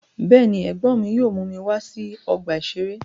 Bẹ́ẹ̀ ni, ẹ̀gbọ́n mi yóò mú mi wá sí ọgbà-ìṣeré.